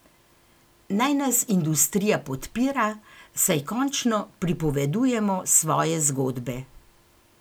Naj nas industrija podpira, saj končno pripovedujemo svoje zgodbe.